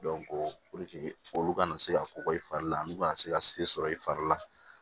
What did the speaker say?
olu kana se ka kɔgɔ i fari la n'u kana se ka se sɔrɔ i fari la